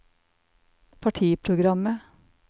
partiprogrammet